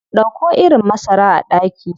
Dauko irin masara a daki.